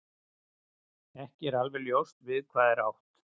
Ekki er alveg ljóst við hvað er átt.